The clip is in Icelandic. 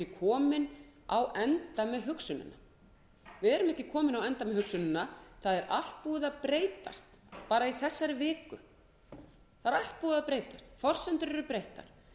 komin á enda með hugsunina við erum ekki komin á enda með hugsunina það er allt búið að breytast bara í þessari viku forsendur eru breyttar